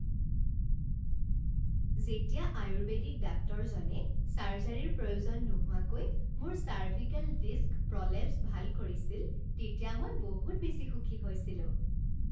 যেতিয়া আয়ুৰ্বেদিক ডাক্তৰজনে ছাৰ্জাৰীৰ প্ৰয়োজন নোহোৱাকৈ মোৰ চাৰ্ভিকেল ডিস্ক প্ৰলেপ্স ভাল কৰিছিল তেতিয়া মই বহুত বেছি সুখী হৈছিলোঁ।